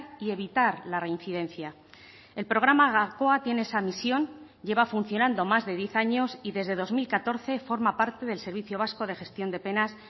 y evitar la reincidencia el programa gakoa tiene esa misión lleva funcionando más de diez años y desde dos mil catorce forma parte del servicio vasco de gestión de penas